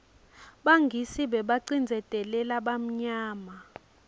bangisi bebabacindzeteu balabamnyama